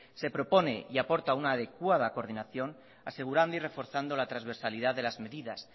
se propone y aporta una adecuada coordinación asegurando y reforzando la transversalidad de las medidas